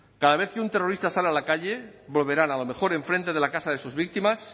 cada vez que un terrorista sale a la calle volverán a lo mejor en frente de la casa de sus víctimas